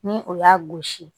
Ni o y'a gosi